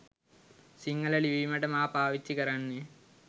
සිංහල ලිවීමට මා පාවිච්චි කරන්නේ